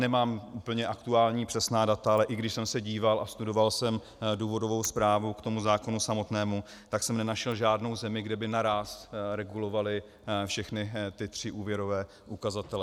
Nemám úplně aktuální přesná data, ale i když jsem se díval a studoval jsem důvodovou zprávu k tomu zákonu samotnému, tak jsem nenašel žádnou zemi, kde by naráz regulovali všechny ty tři úvěrové ukazatele.